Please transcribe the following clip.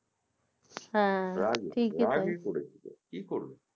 রাগে রাগে করেছিলো কি করবে